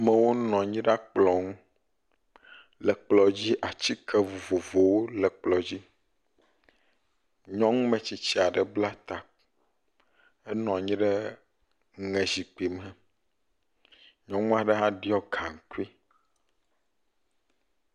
Amewo nɔ anyi ɖe akplɔ ŋu. Le kplɔ dzi atike vovovowo le kplɔ dzi, nyɔnu ametsitsi ɖeka bla ta henɔ anyi ɖe zikpui me, nyɔnu aɖe hã ɖɔ gaŋkui.